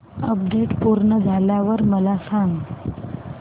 update पूर्ण झाल्यावर मला सांग